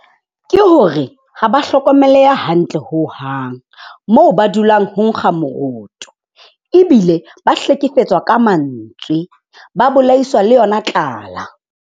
Ke hore ha ba hlokomeleha hantle hohang. Moo ba dulang ho nkga moroto, ebile ba hlekefetswa ka mantswe, ba bolaiswa le yona tlala.